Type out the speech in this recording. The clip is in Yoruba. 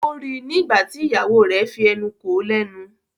O rí ní nígbàtí ìyàwó rẹ fí enú kò lénu.